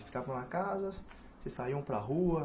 Ficavam na casa, vocês saíam para a rua.